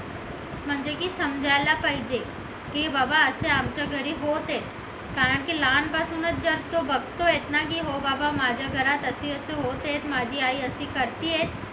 म्हणजे की समजायला पाहिजे की बाबा असे आमच्या घरी होत आहे कारण की लहान पासूनच जळतो बघतोय की हो बाबा माझ्या घरात असे असे होत आहे माझी आई अशी करते आहे